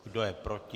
Kdo je proti?